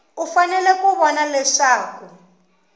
u fanele ku vona leswaku